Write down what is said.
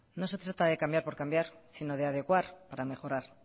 no se trata de cambiar por cambiar sino de adecuar para mejorar